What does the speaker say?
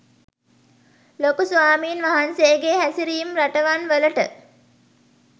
ලොකු ස්වාමීන් වහන්සේගේ හැසිරීම් රටවන් වලට